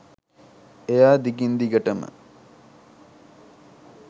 එයා දිගින් දිගටම